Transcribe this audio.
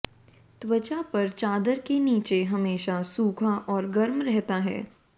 त्वचा पर चादर के नीचे हमेशा सूखा और गर्म रहता है